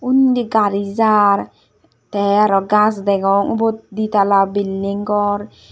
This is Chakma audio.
undi gari jar te araw gaz degong ubot di tala bilding gor.